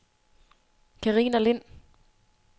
Karina Lind